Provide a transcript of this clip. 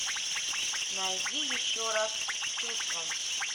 найди еще раз с чувством